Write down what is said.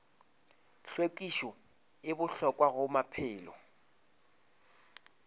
hlwekišo e bohlokwa go maphelo